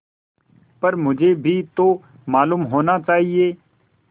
पर मुझे भी तो मालूम होना चाहिए